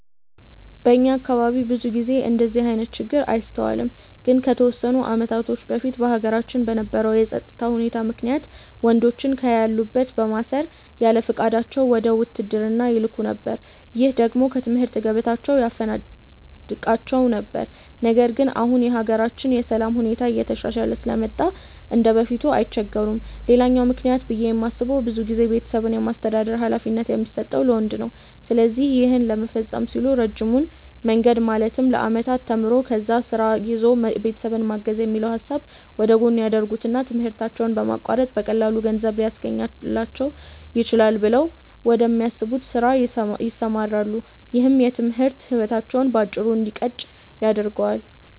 በእኛ አካባቢ ብዙ ጊዜ እንደዚህ አይነት ችግር አይስተዋልም። ግን ከተወሰኑ አመታቶች በፊት በሀገራችን በነበረው የፀጥታ ሁኔታ ምክንያት ወንዶችን ከያሉበት በማሰር ያለፍቃዳቸው ወደ ውትድርና ይላኩ ነበር። ይህ ደግሞ ከትምህርት ገበታቸው ያፈናቅላቸው ነበር። ነገር ግን አሁን የሀገራችን የሰላም ሁኔታ እየተሻሻለ ስለመጣ እንደበፊቱ አይቸገሩም። ሌላኛው ምክንያት ብዬ የማስበው ብዙ ጊዜ ቤተሰብን የማስተዳደር ሀላፊነት የሚሰጠው ለወንዶች ነው። ስለዚህ ይህን ለመፈፀም ሲሉ ረጅሙን መንገድ ማለትም ለአመታት ተምሮ፣ ከዛ ስራ ይዞ ቤተሰብን ማገዝ የሚለውን ሀሳብ ወደጎን ያደርጉትና ትምህርታቸውን በማቋረጥ በቀላሉ ገንዘብ ሊያስገኝልኝ ይችላል ብለው ወደሚያስቡት ስራ ይሰማራሉ። ይህም የትምህርት ህይወታቸው በአጭሩ እንዲቀጭ ያደርገዋል።